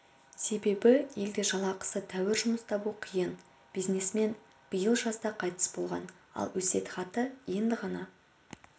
себебі елде жалақысы тәуір жұмыс табу қиын бизнесмен биыл жазда қайтыс болған ал өсиетхаты енді ғана